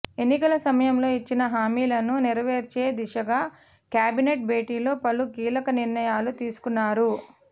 ఎన్నికల సమయంలో ఇచ్చిన హామీలను నెరవేర్చే దిశగా కేబినెట్ భేటీలో పలు కీలక నిర్ణయాలు తీసుకున్నారు